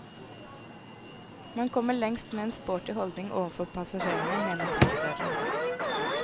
Man kommer lengst med en sporty holdning overfor passasjerene, mener trikkeføreren.